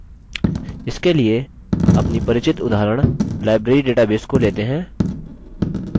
इसके लिए अपनी परिचित उदाहरण library database को लेते हैं